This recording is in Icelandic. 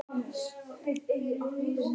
Heimir Már: En andinn góður hingað til?